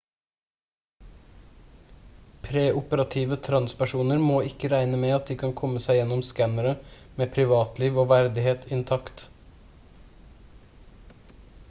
preoperative transpersoner må ikke regne med at de kan komme seg gjennom skannerne med privatliv og verdighet intakt